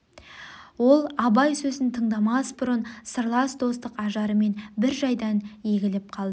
ол абай сөзін тындамас бұрын сырлас достық ажарымен бір жайдан өгіліп алды